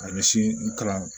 A ɲɛsin n kalan